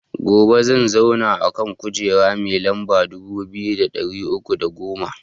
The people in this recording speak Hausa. Gobe zan zauna a kujera mai lamba dubu biyu da ɗari uku da goma